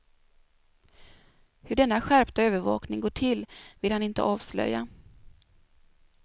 Hur denna skärpta övervakning går till vill han inte avslöja.